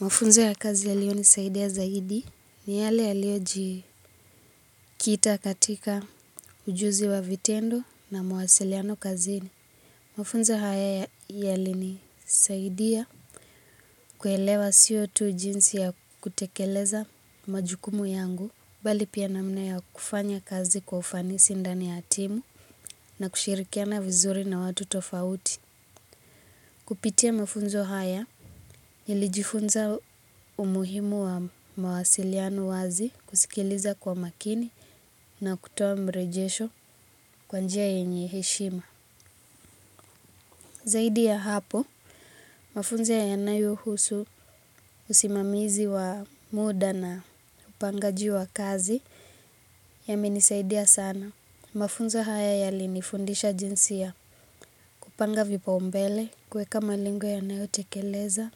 Mafunzo ya kazi yaliyo nisaidia zaidi ni yale yaliyo jikita katika ujuzi wa vitendo na mwasiliano kazini. Mafunzo haya yalinisaidia kuelewa siotu jinsi ya kutekeleza majukumu yangu. Bali pia namna ya kufanya kazi kwa ufanisi ndani ya timu na kushirikiana vizuri na watu tofauti. Kupitia mafunzo haya, nilijifunza umuhimu wa mawasiliano wazi kusikiliza kwa makini na kutowa mrejesho kwanjia yenye heshima. Zaidi ya hapo, mafunzo yanayuhusu usimamizi wa muda na upanga ji wa kazi ya menisaidia sana. Mafunzo haya yalinifundisha jinsia kupanga vipa umbele, kweka malengo yanayo tekeleza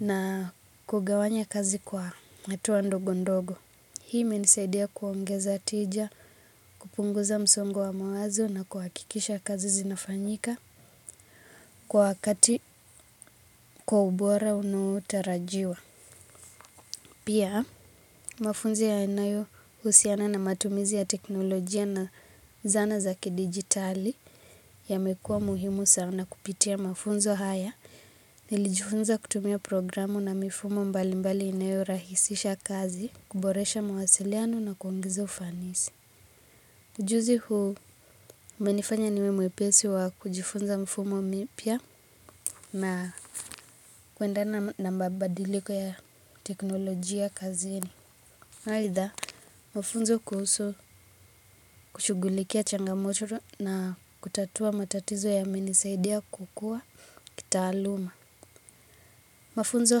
na kugawanya kazi kwa hatuwa ndogo ndogo. Hii imenisaidia kuongeza tija, kupunguza msongo wa mawazo na kuakikisha kazi zinafanyika kwa wakati kwa ubora unuotarajiwa. Pia mafunzo yanayo usiana na matumizi ya teknolojia na zana zaki digitali ya mekua muhimu sana kupitia mafunzo haya. Nilijifunza kutumia programu na mifumo mbali mbali inayo rahisisha kazi, kuboresha mawasiliano na kuungezo ufanisi. Ujuzi huu umenifanya niwe mwepesi wa kujifunza mfumo mipia na kuenda na mababadiliko ya teknolojia kazini. Haitha, mafunzo kuhusu kushugulikia changamotoro na kutatua matatizo ya menisaidia kukua kitaaluma. Mafunzo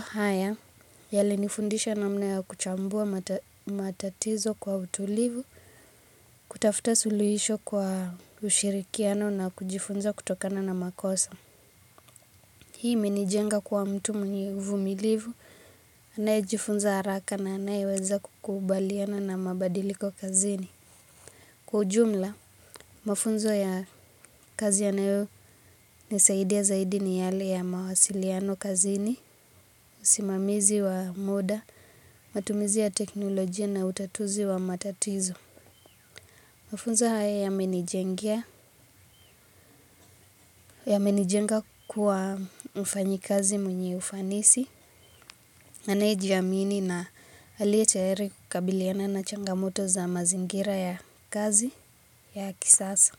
haya, yalinifundisha na mna ya kuchambua matatizo kwa utulivu, kutafuta suluhisho kwa ushirikiano na kujifunza kutokana na makosa. Hii imenijenga kua mtu mwenye uvumilivu, anaye jifunza haraka na anaye weza kukubaliana na mabadiliko kazini. Kwa ujumla, mafunzo ya kazi yanaeo ni saidi ya zaidi ni yale ya mawasiliano kazini, simamizi wa moda, matumizi ya teknolojia na utatuzi wa matatizo. Mafunzo haya yamenijengea, ya menijenga kuwa mfanyi kazi mwenye ufanisi, anejiyaamini na alietaere kukabiliana na changamoto za mazingira ya kazi ya kisasa.